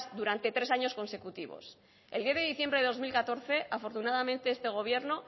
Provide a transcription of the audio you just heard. durante tres años consecutivos el diez de diciembre del dos mil catorce afortunadamente este gobierno